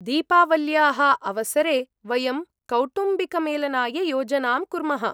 दीपावल्याः अवसरे वयं कौटुम्बिकमेलनाय योजनां कुर्मः।